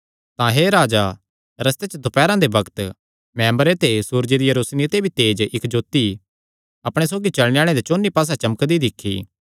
तां हे राजा रस्ते च दोपैरा दे बग्त मैं अम्बरे ते सूरजे दिया रोशनी ते भी तेज इक्क जोत्ती अपणे सौगी चलणे आल़ेआं दे चौंन्नी पास्से चमकदी दिक्खी